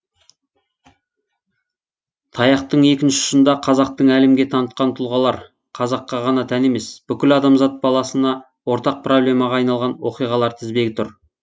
таяқтың екінші ұшында қазақтың әлемге танытқан тұлғалар қазаққа ғана тән емес бүкіл адамзат баласына ортақ проблемаға айналған оқиғалар тізбегі тұр